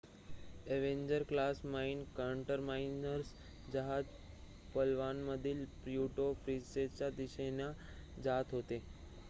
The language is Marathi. अ‍ॅव्हेंजर क्लास माइन काउंटरमीझर्स जहाज पलवानमधील प्युरेटो प्रिन्सेसाच्या दिशेने जात होते